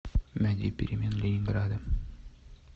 найди перемен ленинграда